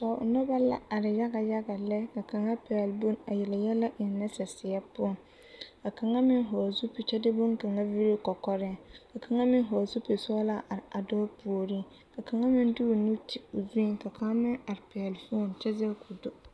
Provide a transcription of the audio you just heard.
Noba la are yaga yaga lɛ ka kaŋa pɛgle bone a yele yɛlɛ eŋnɛ saseɛ poɔ ka kaŋa meŋ hɔgle zupili kyɛ de bonkaŋa villi o kɔkɔreŋ ka kaŋa meŋ hɔgle zupili sɔglaa a are a dɔɔ puoriŋ ka kaŋa meŋ de o nu ti o zuŋ ka kaŋ meŋ are pɛgle foni kyɛ zɛge k,o do.